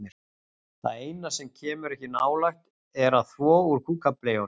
Það eina sem hann kemur ekki nálægt er að þvo úr kúkableyjunum.